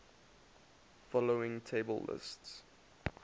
following table lists